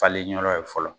Falen yɔrɔ ye fɔlɔ